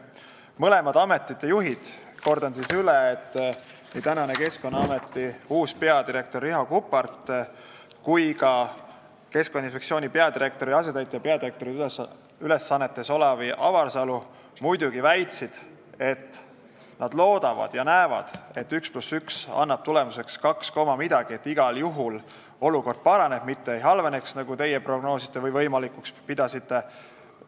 Mõlema ameti juhid, kordan üle, nii Keskkonnaameti uus peadirektor Riho Kuppart kui ka Keskkonnainspektsiooni peadirektori asetäitja peadirektori ülesannetes Olav Avarsalu muidugi väitsid, et nad loodavad ja näevad, et üks pluss üks annab tulemuseks kaks koma millegagi, ja igal juhul olukord paraneb, mitte ei halvene, nagu teie prognoosite või võimalikuks peate.